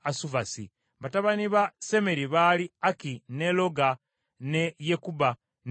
Batabani ba Semeri baali Aki, ne Loga, ne Yekubba ne Alamu.